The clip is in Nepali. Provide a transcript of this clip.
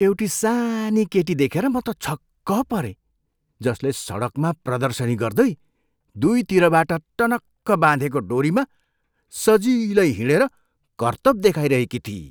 एउटी सानी केटी देखेर म त छक्क परेँ जसले सडकमा प्रदर्शनी गर्दै दुईतिरबाट टनक्क बाँधेको डोरीमा सजिलै हिँडेर कर्तब देखाइरहेकी थिई।